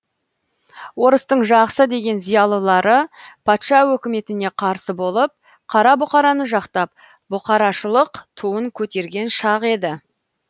орыстың жақсы деген зиялылары патша өкіметіне қарсы болып қара бұқараны жақтап бұқарашылық туын көтерген шақ еді